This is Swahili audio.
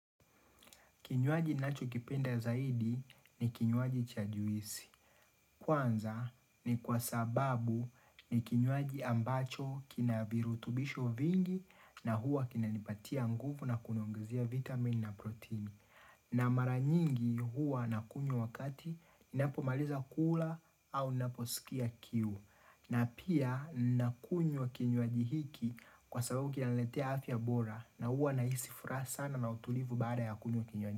Kinywaji ninachokipenda zaidi, ni kinywaji cha juisi. Kwanza, ni kwa sababu ni kinywaji ambacho kina virutubisho vingi na huwa kina nipatia nguvu na kuniongezia vitamin na proteini. Na mara nyingi huwa ninakunywa wakati ninapo maliza kula au ninaposikia kiu. Na pia ninakunywa kinywaji hiki kwa sababu kinaniletea afya bora, na huwa ninahisi furaha sana na utulivu baada ya kunywa kinywaji.